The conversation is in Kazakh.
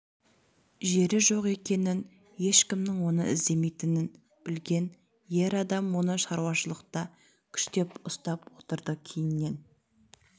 жері жоқ екенін ешкімнің оны іздемейтінін білген ер адам оны шаруашылықта күштеп ұстап отырды кейіннен